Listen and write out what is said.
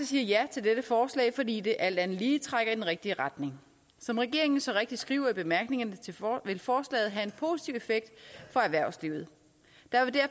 siger ja til dette forslag fordi det alt andet lige trækker i den rigtige retning som regeringen så rigtigt skriver i bemærkningerne vil forslaget have en positiv effekt for erhvervslivet